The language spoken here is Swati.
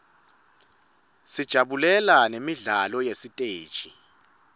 sijabulela nemidlalo yesiteji